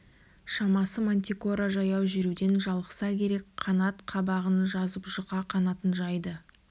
шамасы мантикора жаяу жүруден жалықса керек қанат қабығын жазып жұқа қанатын жайды